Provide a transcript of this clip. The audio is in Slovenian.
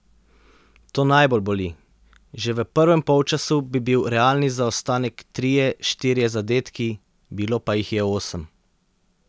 To najbolj boli, že v prvem polčasu bi bil realni zaostanek trije, štirje zadetki, bilo pa jih je osem.